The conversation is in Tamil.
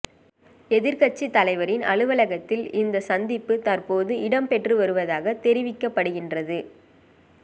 எதிர்கட்சி தலைவரின் அலுவலகத்தில் இந்த சந்திப்பு தற்போது இடம்பெற்று வருவதாக தெரிவிக்கப்படுகின்றது